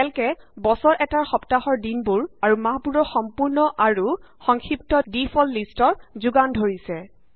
calc এ বছৰ এটাৰ সপ্তাহৰ দিনবোৰ আৰু মাহবোৰৰ সম্পূৰ্ণ আৰু সংক্ষিপ্ত ডিফল্ট লিষ্টৰ যোগান ধৰিছে